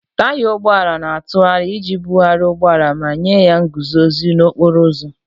Taya ụgbọ ala na-atụgharị iji bugharịa ụgbọ ala ma nye ya nguzozi n'okporo ụzọ.